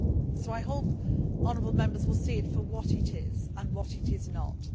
So I hope honourable Members will see it for what it is and what it is not.